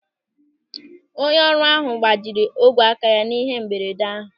Onye ọrụ ahụ gbajiri ogwe aka ya n'ihe mberede ahụ.